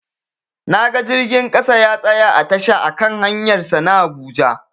Naga jirgin ƙasa ya tsaya a tasha a kan hanyar sa ta habuja